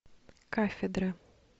кафедра